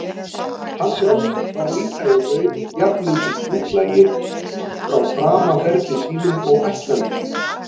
Hann sjálfur var líka í raun jafnmikill útlagi frá framaferli sínum og ættlandi sínu.